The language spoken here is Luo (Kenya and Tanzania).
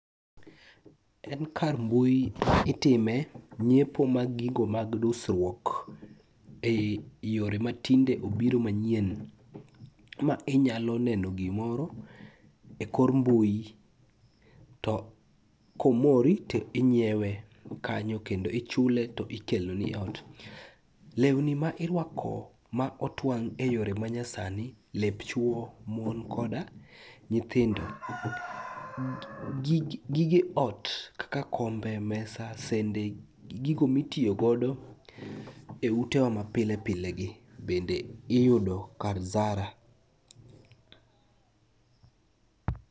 En kar mbui itime nyiepo mag gigo mag dusruok e i yore matinde obiro manyien ma inyalo neno gimoro e kor mbui to komori to nyiewe kanyo kendo ichule tikeloni ot. Lewni ma irwako ma otwang' e yore manyasani lep chwo, mon koda nyithindo, gige ot kaka kombe, mesa, sende gi gigo mitiyogodo e utewa mapile pilegi bende iyudo kar Zara.